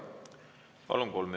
Palun!